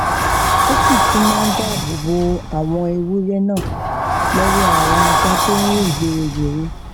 ó sì tún máa dáàbò bo àwọn ewúré náà lówó àwọn ajá tó rìn gbéregbère